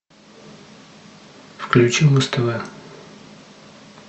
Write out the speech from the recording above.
включи муз тв